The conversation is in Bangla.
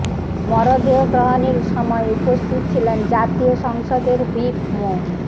মরদেহ গ্রহণের সময় উপস্থিত ছিলেন জাতীয় সংসদের হুইপ মো